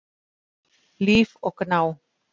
Líf og Gná.